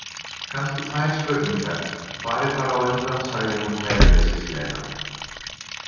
Kannski tvær spurningar, farið bara á undan, sagði hún kæruleysislega.